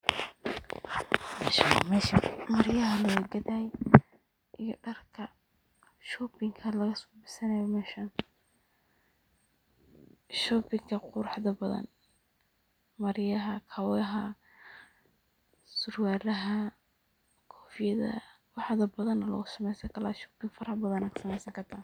Meeshan maryaha aya lagagadanaya iyo darka shopping aya lagasamesta meeshan. Shopping quruxda badan maryaha, surwalaha, kofiyadaha wax badan oo shopping badanayad kusameysani karta.